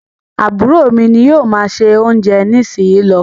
Àbúrò mí ní o má ṣe oúnjẹ nísìsiyìí ló.